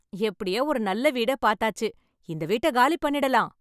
எப்படியோ ஒரு நல்ல வீட பாத்தாச்சு இந்த வீட்ட காலி பண்ணிரலாம்